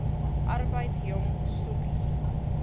arbeid jong stokkies